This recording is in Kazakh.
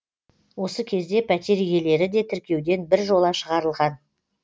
осы кезде пәтер иелері де тіркеуден біржола шығарылған